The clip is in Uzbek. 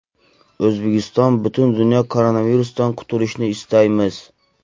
O‘zbekiston, butun dunyo koronavirusdan qutulishini istaymiz.